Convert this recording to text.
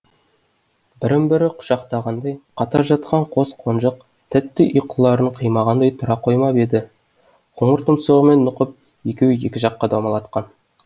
бірін бірі құшақтағандай қатар жатқан қос қонжық тәтті ұйқыларын қимағандай тұра қоймап еді қоңыр тұмсығымен нұқып екеуін екі жаққа домалатқан